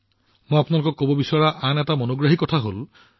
মই আপোনালোকক আৰু এটা আকৰ্ষণীয় কথা কব বিচাৰো